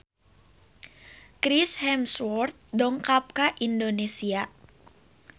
Chris Hemsworth dongkap ka Indonesia